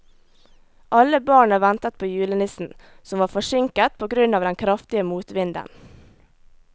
Alle barna ventet på julenissen, som var forsinket på grunn av den kraftige motvinden.